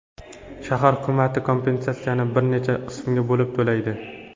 Shahar hukumati kompensatsiyani bir necha qismga bo‘lib to‘laydi.